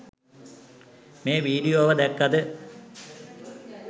මේ වීඩියෝව දැක්කද?